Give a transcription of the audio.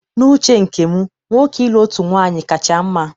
N'uche nke m, nwoke ịlụ otu nwaanyị kacha mma